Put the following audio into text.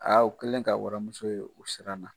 Aa u kɛlen ka waramuso ye, u siran na.